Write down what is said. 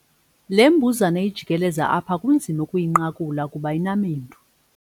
Le mbuzane ijikeleza apha kunzima ukuyinqakula kuba inamendu.